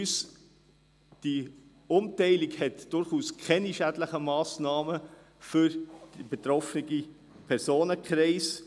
Die Umverteilung hat keine schädlichen Folgen für den betroffenen Personenkreis.